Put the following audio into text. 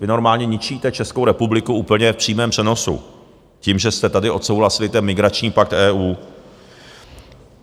Vy normálně ničíte Českou republiku úplně v přímém přenosu tím, že jste tady odsouhlasili ten migrační pakt EU.